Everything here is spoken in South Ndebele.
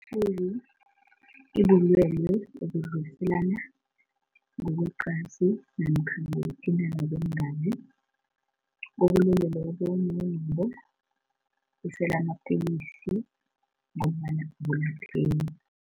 I-H_I_V ibulwele obudluliselana ngokweqansi namkha ngokuthintana kweengazi. Okulindeleke bona nawunabo usele amapilisi ngombana abulapheki.